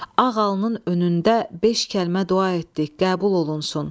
Ağ alnın önündə beş kəlmə dua etdik, qəbul olunsun.